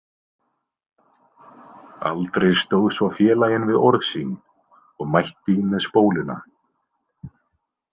Aldrei stóð svo félaginn við orð sín og mætti með spóluna.